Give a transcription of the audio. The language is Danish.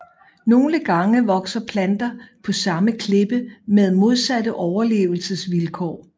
Nogle gange vokser planter på samme klippe med modsatte overlevelsesmåder